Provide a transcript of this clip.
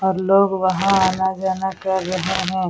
और लोग वह आना जाना कर रहे हैं ।